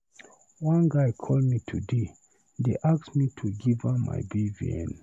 One guy call me today dey ask me to give am my BVN.